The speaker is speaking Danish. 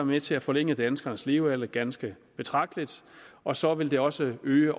med til at forlænge danskernes levealder ganske betragteligt og så vil det også øge